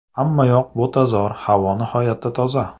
Hammayoq butazor, havo nihoyatda toza.